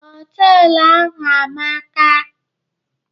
Ee, họtelu ahụ amaka